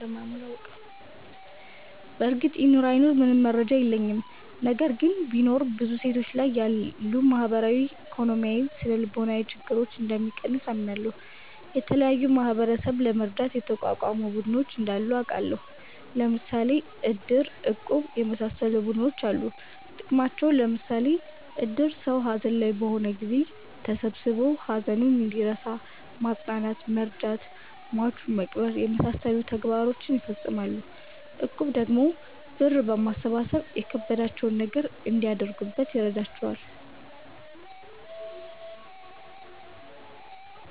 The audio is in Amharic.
በርግጥ ይኑር አይኑር ምንም መረጃ የለኝም። ነገር ግን ቢኖር ብዙ ሴቶች ላይ ያሉ ማህበራዊ፣ ኢኮኖሚያዊ፣ ስነልቦናዊ ችግረኞን እንደሚቀንስ አምናለሁ። የተለያዩ ማህበረሰብን ለመርዳት የተቋቋሙ ቡድኖች እንዳሉ አቃለሁ። ለምሣሌ እድር፣ እቁብ የመሣሠሉ ቡድኖች አሉ ጥቅማቸውም ለምሳሌ እድር ሠው ሀዘን ላይ በሆነ ጊዜ ተሠብስቦ ሀዘኑን እንዲረሣ ማፅናናት መርዳት ሟቹን መቅበር የመሣሠሉ ተግባሮችን ይፈፅማል። እቁብ ደግሞ ብር በማሠባሠብ የከበዳቸውን ነገር እንዲያደርጉበት ይረዳቸዋል።